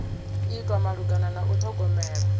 itwa malugana na u ṱhogomela